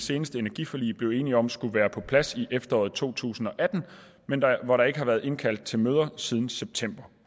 seneste energiforlig blev enige om skulle være på plads i efteråret to tusind og atten men hvor der ikke har været indkaldt til møder siden september